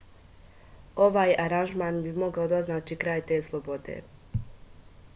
ovaj aranžman bi mogao da označi kraj te slobode